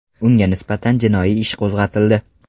Unga nisbatan jinoiy ish qo‘zg‘atildi.